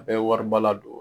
A bɛ wariba ladon.